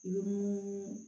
Ni mun